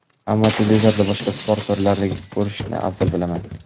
ammo televizorda boshqa sport turlarini ko‘rishni afzal bilaman.